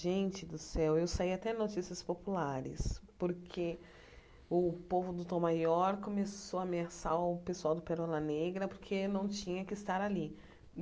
Gente do céu, eu saí até notícias populares, porque o povo do Tom Maior começou a ameaçar o pessoal do Perola Negra, porque não tinha que estar ali.